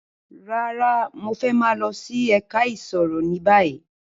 Rárá, Mo fẹ maa lọ si ẹka iṣiro ni bayi